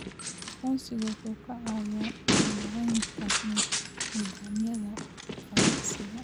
Aqoonsigu wuxuu ka caawiyaa maaraynta nidaamyada ganacsiga.